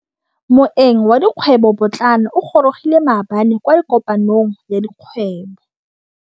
Moêng wa dikgwêbô pôtlana o gorogile maabane kwa kopanong ya dikgwêbô.